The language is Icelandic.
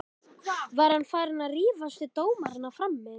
Var hann farinn að rífast við dómarana frammi?